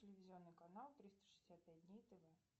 телевизионный канал триста шестьдесят пять дней тв